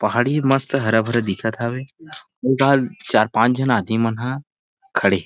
पहाड़ी मस्त हरा भरा दिखत हवे ओ डाहर चार पांच झन आदमी मन ह खड़े हे।